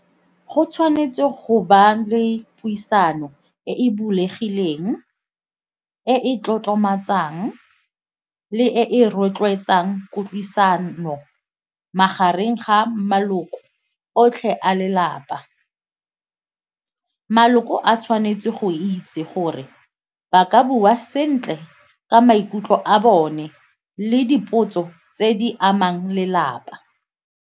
Go tshwanetse go ba le puisano e e bulegileng, e e tlotlomatsa jang le e rotloetsang kutlwisano magareng ga maloko otlhe a lelapa. Maloko a tshwanetse go itse gore ba ka bua sentle ka maikutlo a bone le dipotso tse di amang lelapa.